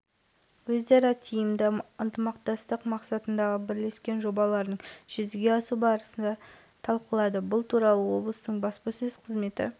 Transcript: оңтүстік қазақстан облысының әкімі жансейіт түймебаев венгрияның сыртқы экономикалық байланыстар және сыртқы істер министрлігінің мемлекеттік хатшысы